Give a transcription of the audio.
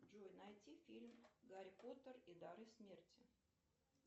джой найти фильм гарри поттер и дары смерти